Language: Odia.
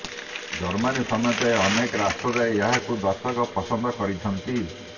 ଜର୍ମାନୀ ସମେତ ଅନେକ ରାଷ୍ଟ୍ରରେ ଏହାକୁ ଦର୍ଶକ ପସନ୍ଦ କରିଛନ୍ତି